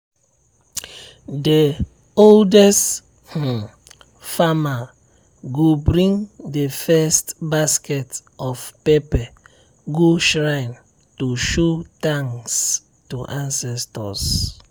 the oldest um farmer go bring the first basket of pepper go shrine to show thanks to ancestors.